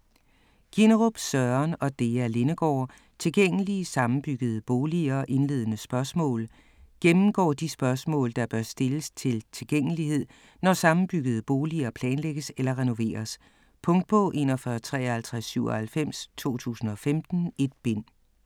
Ginnerup, Søren og Dea Lindegaard: Tilgængelige sammenbyggede boliger - indledende spørgsmål Gennemgår de spørgsmål, der bør stilles til tilgængelighed, når sammenbyggede boliger planlægges eller renoveres. Punktbog 415397 2015. 1 bind.